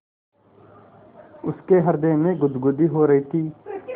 उसके हृदय में गुदगुदी हो रही थी